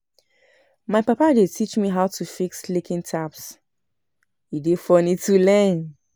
My papa dey teach me how to fix leaking taps, e dey fun to learn.